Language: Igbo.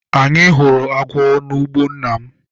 Anyị hụrụ agwọ n'ugbo nna m.